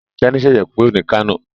Teni ṣẹṣẹ kúrò ní Kano.